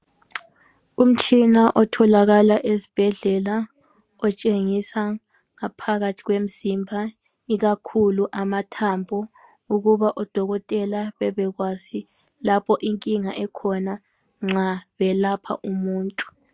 Umtshina otholakala ezibhedlela otshengisa ngaphakathi kwemzimba ikakhulu amathambo ukuba oDokotela bebekwazi lapho inkinga ekhona nxa belapha umuntu.